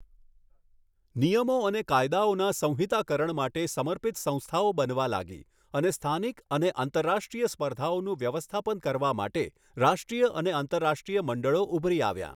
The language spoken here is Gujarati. નિયમો અને કાયદાઓના સંહિતાકરણ માટે સમર્પિત સંસ્થાઓ બનવા લાગી અને સ્થાનિક અને આંતરરાષ્ટ્રીય સ્પર્ધાઓનું વ્યવસ્થાપન કરવા માટે રાષ્ટ્રીય અને આંતરરાષ્ટ્રીય મંડળો ઉભરી આવ્યાં.